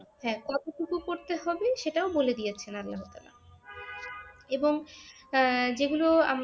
হ্যাঁ কতটুকু করতে হবে সেটাও বলে দিয়েছেন আল্লাহ তাআলা এবং আহ যেগুলো